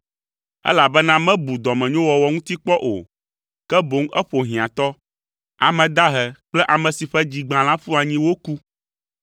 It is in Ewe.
elabena mebu dɔmenyowɔwɔ ŋuti kpɔ o, ke boŋ eƒo hiãtɔ, ame dahe kple ame si ƒe dzi gbã la ƒu anyi woku.